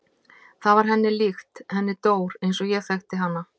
Það var henni líkt, henni Dór eins og ég þekkti hana.